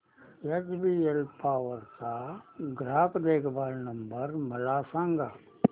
HBL power चा ग्राहक देखभाल नंबर मला सांगा